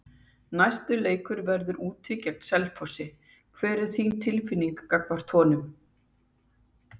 Næsti leikur verður úti gegn Selfossi, hver er þín tilfinning gagnvart honum?